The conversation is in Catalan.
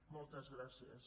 moltes gràcies